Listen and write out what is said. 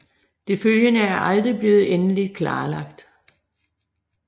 Det følgende er aldrig blevet endeligt klarlagt